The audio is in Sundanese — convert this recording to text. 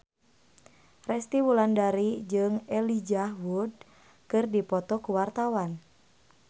Resty Wulandari jeung Elijah Wood keur dipoto ku wartawan